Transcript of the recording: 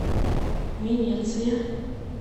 венеция